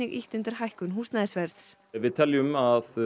ýtt undir hækkun húsnæðisverðs við teljum að